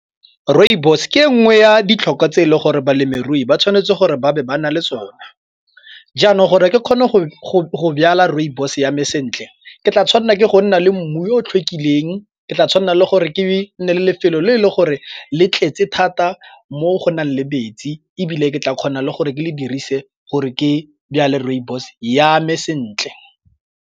Rooibos ke e nngwe ya ditlhokwa tse e le gore balemirui ba tshwanetse gore ba be ba na le sone. Jaanong gore ke kgone go byala rooibos yame sentle ke tla tshwanela ke go nna le mmu o tlhokile eng ke tla tshwanna le gore ke nne le lefelo le le gore le tletse thata mo go nang le metsi ebile ke tla kgona le gore ke le dirise gore ke byale rooibos yame sentle.